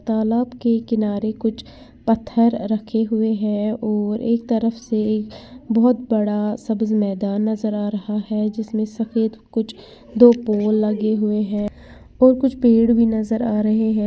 तालाब के किनारे कुछ पत्थर रखे हुए हैं और एक तरफ से बहोत बड़ा सा मैदान नजर आ रहा है जिसमें सफेद कुछ दो पोल लगे हुए हैं और कुछ पेड़ भी नजर आ रहे हैं।